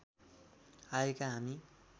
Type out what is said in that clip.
आएका हामी